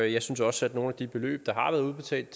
og jeg synes også at nogle af de beløb der har været udbetalt